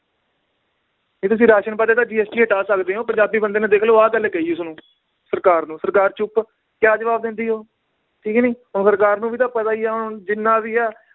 ਵੀ ਤੁਸੀਂ ਰਾਸ਼ਨ ਤੋਂ GST ਹਟਾ ਸਕਦੇ ਓ ਪੰਜਾਬੀ ਬੰਦੇ ਨੇ ਦੇਖ ਲਓ ਆਹ ਗੱਲ ਕਹੀ ਉਸਨੂੰ ਸਰਕਾਰ ਨੂੰ ਸਰਕਾਰ ਚੁੱਪ ਕਿਆ ਜਵਾਬ ਦਿੰਦੀ ਉਹ, ਠੀਕ ਨੀ ਹੁਣ ਸਰਕਾਰ ਨੂੰ ਵੀ ਤਾਂ ਪਤਾ ਈ ਆ ਹੁਣ ਜਿਨਾਂ ਵੀ ਆ